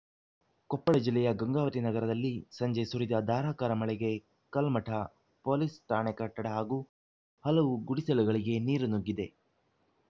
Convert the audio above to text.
ಕೊಪ್ಪಳ ಜಿಲ್ಲೆಯ ಗಂಗಾವತಿ ನಗರದಲ್ಲಿ ಸಂಜೆ ಸುರಿದ ಧಾರಾಕಾರ ಮಳೆಗೆ ಕಲ್ಮಠ ಪೊಲೀಸ್‌ ಠಾಣೆ ಕಟ್ಟಡ ಹಾಗೂ ಹಲವು ಗುಡಿಸಲುಗಳಿಗೆ ನೀರು ನುಗ್ಗಿದೆ